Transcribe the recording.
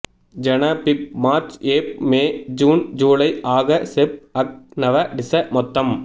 ஜன பிப் மாா்ச் ஏப் மே ஜூன் ஜூலை ஆக செப் அக் நவ டிச மொத்தம்